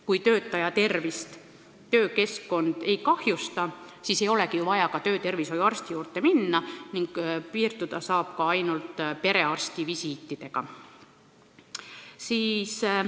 Kui töökeskkond töötaja tervist ei kahjusta, siis ei olegi ju vaja ka töötervishoiuarsti juurde minna, saab piirduda ainult perearsti visiitidega.